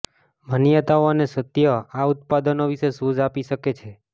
માન્યતાઓ અને સત્ય આ ઉત્પાદનો વિશે સૂઝ આપી શકે છે